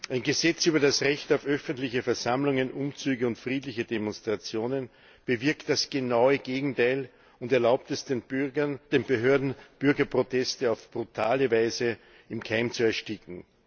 Ein Gesetz über das Recht auf öffentliche Versammlungen, Umzüge und friedliche Demonstrationen bewirkt das genaue Gegenteil und erlaubt es den Behörden, Bürgerproteste auf brutale Weise im Keim zu ersticken.